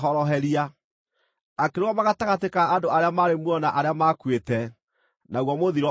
Akĩrũgama gatagatĩ ka andũ arĩa maarĩ muoyo na arĩa maakuĩte, naguo mũthiro ũgĩthira.